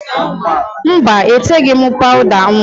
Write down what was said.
Mba, eteghi m pawụda nwa